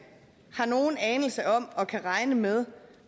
har nogen anelse om og kan regne med